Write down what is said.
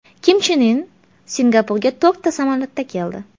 Kim Chen In Singapurga to‘rtta samolyotda keldi.